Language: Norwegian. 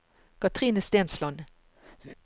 Katrine Stensland